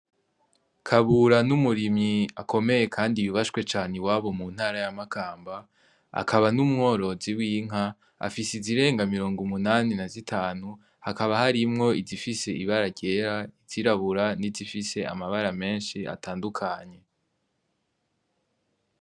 Kabura n'umurimyi akomeye kandi yubashwe cane muntara iwabo ya makamba akaba n'umworozi w'inka afise izirenga mirong'umunani na zitanu Hakaba harimwo izifise ibara ryera izirabura nizifise amabara menshi atandukanye.